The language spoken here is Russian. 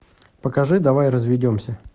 покажи давай разведемся